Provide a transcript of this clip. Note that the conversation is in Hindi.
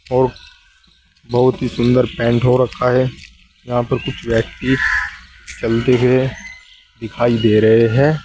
और बहुत ही सुंदर पेंट हो रखा है यहां पे कुछ व्यक्ति चलते हुए दिखाई दे रहे हैं।